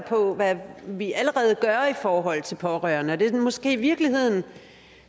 på hvad vi allerede gør i forhold til pårørende og det er måske i virkeligheden